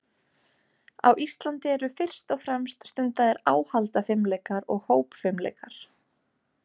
Á Íslandi eru fyrst og fremst stundaðir áhaldafimleikar og hópfimleikar.